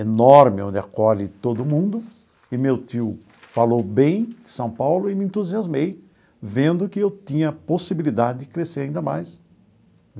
enorme onde acolhe todo mundo e meu tio falou bem de São Paulo e me entusiasmei vendo que eu tinha a possibilidade de crescer ainda mais.